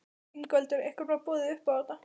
Ingveldur: Ykkur var boðið upp á þetta?